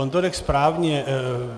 On to řekl správně.